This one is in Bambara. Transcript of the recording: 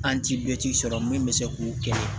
An ti bɛ sɔrɔ min bɛ se k'o kɛ